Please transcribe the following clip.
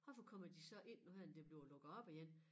Hvorfor kommer de så ind nu her det bliver lukket op igen